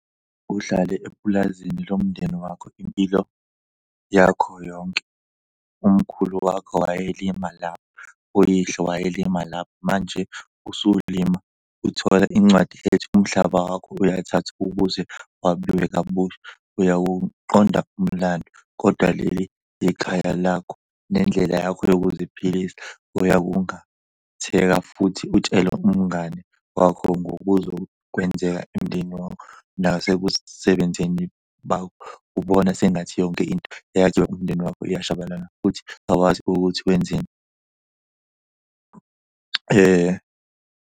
Uhlale epulazini lomndeni wakho impilo yakho yonke. Umkhulu wakho wayelima lapho, uyihlo wayelima lapho manje usulima uthole incwadi ethi umhlaba wakho uyathathwa ukuze wabiwe kabusha. Uyawuqonda umlando kodwa leli ikhaya lakho, nendlela yakho yokuziphilisa. Uyakungatheka futhi utshele umngani wakho ngokuzokwenzeka emindeni wakho nasekusebenzeni bakho. Ubona sengathi yonke into eyakhiwa umndeni wakho iyashabalala futhi awazi ukuthi wenzeni .